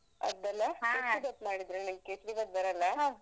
ನಂಗ್ ಕೇಸ್ರಿ ಬಾತ್ ಬರಲ್ಲ.